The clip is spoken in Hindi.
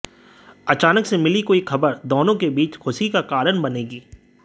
अचानक से मिली कोई खबर दोनों के बीच खुशी का कारण बनेगी